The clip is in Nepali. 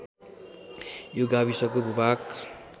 यो गाविसको भूभाग